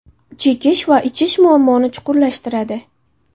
Chekish va ichish muammoni chuqurlashtiradi.